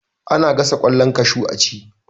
Ana gasa kwallon kashu a ci.